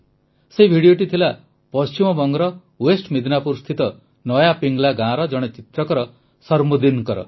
ସେହି ଭିଡିଓଟି ଥିଲା ପଶ୍ଚିମବଙ୍ଗର ୱେଷ୍ଟ୍ ମିଦନାପୁର ସ୍ଥିତ ନୟା ପିଙ୍ଗ୍ଲା ଗାଁର ଜଣେ ଚିତ୍ରକର ସରମୁଦ୍ଦିନଙ୍କର